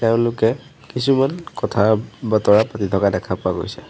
এওঁলোকে কিছুমান কথা বতৰা পাতি থকা দেখা পোৱা গৈছে।